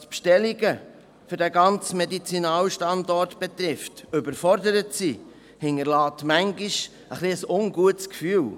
die Bestellungen für den ganzen Medizinalstandort betrifft, als Parlamentarier überfordert sind, hinterlässt zuweilen ein ungutes Gefühl.